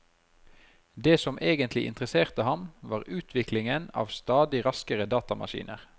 Det som egentlig interesserte ham, var utviklingen av stadig raskere datamaskiner.